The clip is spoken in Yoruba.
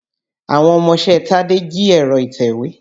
Àwọn ọmọṣẹ́ Tádé jí ẹ̀rọ ìtèwé.